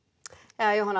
Jóhanna